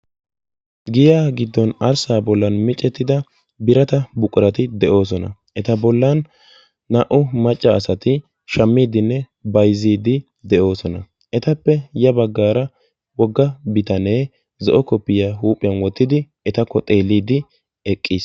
Giyan gidon arssa bollan miccettida biraata buqurati de'osona. Eta bollan naa''u macca asaati shammiiddinne bayzziiddi de'osona. Etappe yabaggara wogga biitane zo'o koppiyiya huuphiyan wootidi etakko xeelliidi eqqiis.